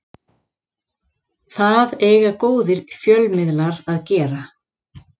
Það eiga góðir fjölmiðlar að gera